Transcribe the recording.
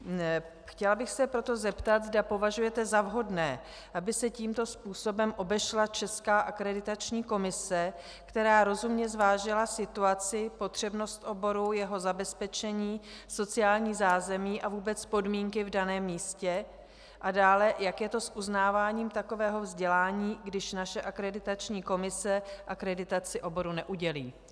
Chtěla bych se proto zeptat, zda považujete za vhodné, aby se tímto způsobem obešla česká Akreditační komise, která rozumně zvážila situaci, potřebnost oboru, jeho zabezpečení, sociální zázemí a vůbec podmínky v daném místě, a dále, jak je to s uznáváním takového vzdělání, když naše Akreditační komise akreditaci oboru neudělí.